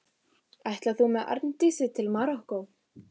Ætlar þú með Arndísi til Marokkó?